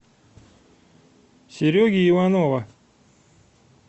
сереги иванова